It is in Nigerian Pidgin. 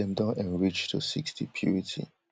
wey dem don enrich to sixty purity